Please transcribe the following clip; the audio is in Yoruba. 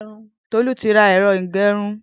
Tolu ti rà ẹrọ igbẹrùn